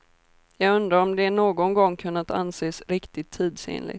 Jag undrar om det någon gång kunnat anses riktigt tidsenligt.